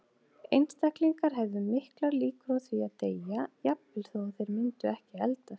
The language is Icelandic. Einstaklingar hefðu miklar líkur á því að deyja, jafnvel þó að þeir myndu ekki eldast.